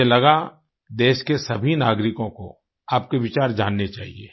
मुझे लगा देश के सभी नागरिको को आपके विचार जानने चाहिए